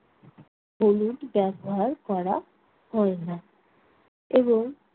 হলুদ ব্যবহার করা হয় না এবং